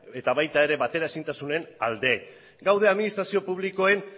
eta baita ere bateraezintasunen alde gaude administrazio publikoen